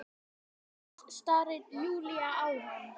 Orðlaus starir Júlía á hana.